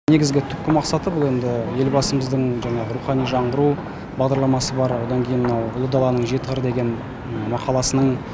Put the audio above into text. негізгі түпкі мақсаты бұл енді елбасымыздың жаңағы рухани жаңғыру бағдарламасы бар одан кейін мынау ұлы даланың жеті қыры деген мақаласының